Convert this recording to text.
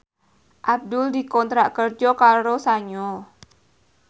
Abdul dikontrak kerja karo Sanyo